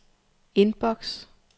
inbox